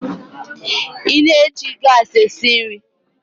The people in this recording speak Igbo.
Ị na-eji gas esi nri?